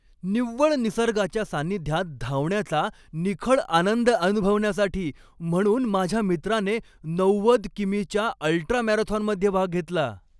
निव्वळ निसर्गाच्या सानिध्यात धावण्याचा निखळ आनंद अनुभवण्यासाठी म्हणून माझ्या मित्राने नव्वद कि.मी.च्या अल्ट्रा मॅरेथॉनमध्ये भाग घेतला.